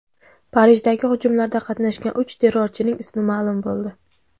Parijdagi hujumlarda qatnashgan uch terrorchining ismi ma’lum bo‘ldi.